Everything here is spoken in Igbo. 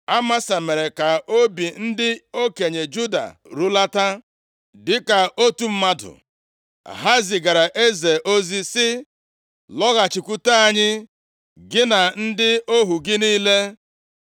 Amasa mere ka obi ndị okenye Juda rulata, dịka otu mmadụ. Ha zigara eze ozi, sị, “Lọghachikwute anyị, gị na ndị ohu gị niile.”